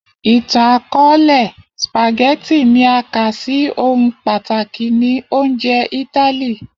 Itan-akọọlẹ, spaghetti ni a ka si ohun pataki ni ounjẹ Itali.